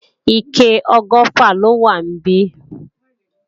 Ike ọgọ́fà lọ wà níbí